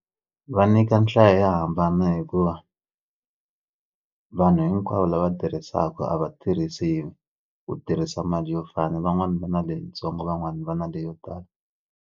Va nyika nhlayo yo hambana hikuva vanhu hinkwavo lava tirhisaka a va tirhisi ku tirhisa mali yo fana van'wani va na leyitsongo van'wani va na leyo tala.